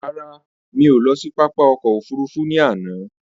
Rárá, mí ò lọ sí pápá ọkò òfurufú ní àná.